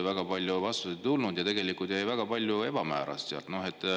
Väga palju vastuseid ei tulnud ja tegelikult jäi väga palju ebamääraseks.